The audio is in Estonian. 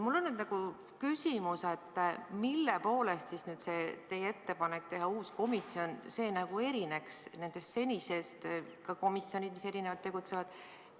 Mul on küsimus: mille poolest uus komisjon erineks senistest komisjonidest, mis erinevalt tegutsevad?